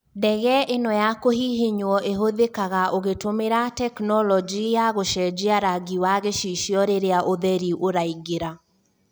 Ndege ĩno ya kũhihinywo ihũthĩkaga ugĩtũmĩra tekinoloji ya gũcenjia rangi wa gĩcicio rĩrĩa ũtheri ũraingĩra